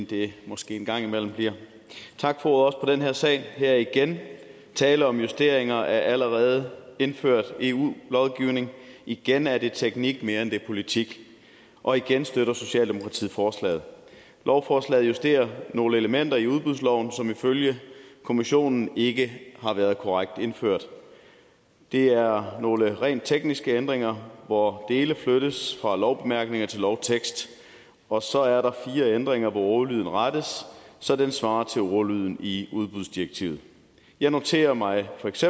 det måske en gang imellem bliver tak for ordet til den her sag her er der igen tale om justeringer af allerede indført eu lovgivning igen er det teknik mere end det er politik og igen støtter socialdemokratiet forslaget lovforslaget justerer nogle elementer i udbudsloven som ifølge kommissionen ikke har været korrekt indført det er nogle rent tekniske ændringer hvor dele flyttes fra lovbemærkninger til lovtekst og så er der fire ændringer hvor ordlyden rettes så den svarer til ordlyden i udbudsdirektivet jeg noterer mig feks